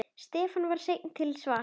Stefán var seinn til svars.